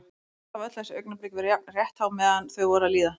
Samt hafa öll þessi augnablik verið jafn rétthá meðan þau voru að líða.